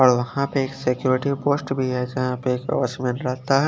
और वहा पे सिक्यूरिटी पोस्ट भी है जहाँ पे उसमे पता है।